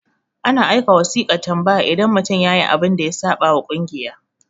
ana aika wasiƙan tambaya idan mutum yayi abun da ya saɓa wa kungiya